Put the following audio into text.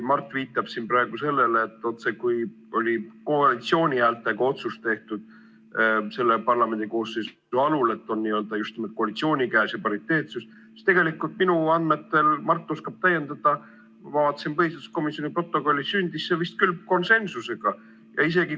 Mart viitab siin praegu sellele, et koalitsiooni häältega tehti selle parlamendikoosseisu alul otsus, et on just nimelt pariteetsus, aga tegelikult minu andmetel – Mart oskab täiendada –, ma vaatasin põhiseaduskomisjoni protokollist, sündis see vist küll konsensusega.